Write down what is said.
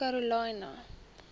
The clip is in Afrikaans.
karolina